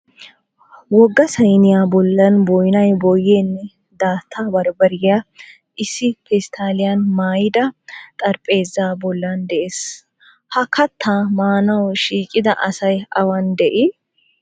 Wogga sayiniya bollan boyinaa boyyiyaanne daatta bambbariya issi pestaaliyan maayida xarapheezaa bollan de'es. Ha kattaa maanawu shiiqida asay awan dii?